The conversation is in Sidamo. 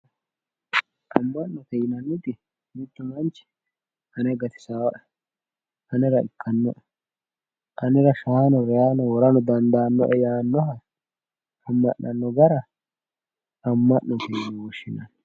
Ammo'ne yinanniti mittu manchi ane gatisaae anera ikkanno anera shaano reyaano worano dandaannoe yaannoha amma'nanno gara amma'note yine woshshinanni